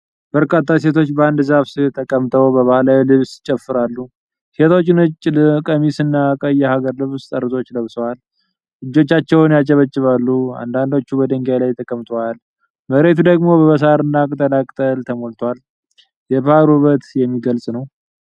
በርካታ ሴቶች በአንድ ዛፍ ሥር ተቀምጠው በባህላዊ ልብስ ይጨፍራሉ። ሴቶቹ ነጭ ቀሚስ እና ቀይ የሀገር ልብስ ጠርዞች ለብሰዋል፤ እጆቻቸውን ያጨበጭባሉ። አንዳንዶቹ በድንጋይ ላይ ተቀምጠዋል፤ መሬቱ ደግሞ በሳርና ቅጠላቅጠል ተሞልቷል። የባህል ውበት የሚገልፅ ነው።